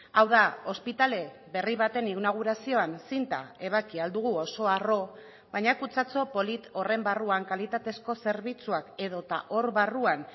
hau da ospitale berri baten inaugurazioan zinta ebaki ahal dugu oso harro baina kutxatxo polit horren barruan kalitatezko zerbitzuak edota hor barruan